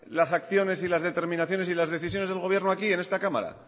las acciones y las determinaciones y las decisiones del gobierno aquí en esta cámara